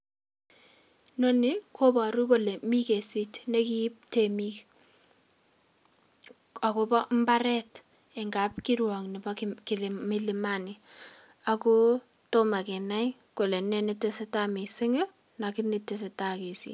Nonii koboru kole mii kesit nekiib temik akobo imbaret en kapkiruok nebo kilima milimani ako tomo kenai kole nee netesetai missing kii lakini tesetai kesit.